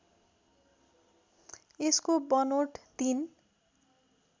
यसको बनोट ३